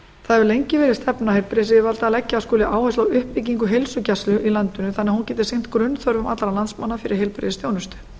það hefur lengi verið stefna heilbrigðisyfirvalda að leggja skuli áherslu á uppbyggingu heilsugæslu í landinu þannig að hún geti sinnt grunnþörfum allra landsmanna fyrir heilbrigðisþjónustu